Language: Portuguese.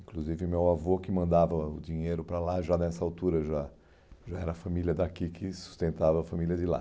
Inclusive, meu avô, que mandava o dinheiro para lá, já nessa altura, já já era a família daqui que sustentava a família de lá.